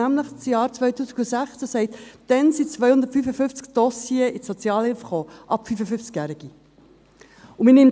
Demzufolge kamen im Jahr 2016 255 Dossiers von über 55-Jährigen in die Sozialhilfe.